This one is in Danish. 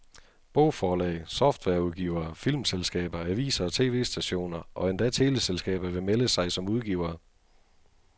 Bogforlag, softwareudgivere, filmselskaber, aviser og tv-stationer og endda teleselskaber vil melde sig som udgivere.